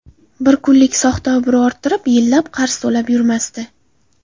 Bir kunlik soxta obro‘ orttirib, yillab qarz to‘lab yurmasdi.